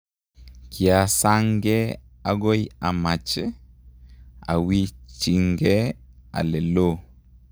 Kiasangee okoi amache awichinge ale loo